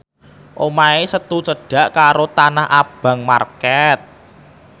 omahe Setu cedhak karo Tanah Abang market